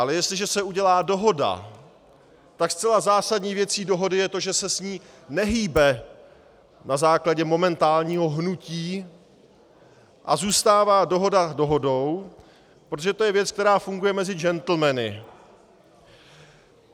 Ale jestliže se udělá dohoda, tak zcela zásadní věcí dohody je to, že se s ní nehýbe na základě momentálního hnutí a zůstává dohoda dohodou, protože to je věc, která funguje mezi džentlmeny.